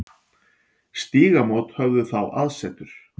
Stígamót höfðu þá aðsetur.